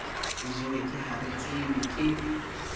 o jewe ke haretsebe ke